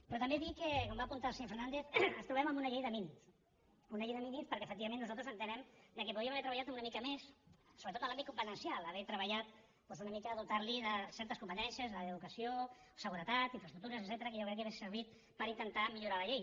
però també dir que com va apuntar el senyor fernández ens trobem amb una llei de mínims una llei de mínims perquè efectivament nosaltres entenem que podríem haver treballat una mica més sobretot en l’àmbit competencial haver treballat doncs una mica dotar lo de certes competències la d’educació seguretat infraestructures etcètera que jo crec que haurien servit per intentar millorar la llei